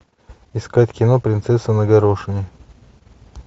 искать кино принцесса на горошине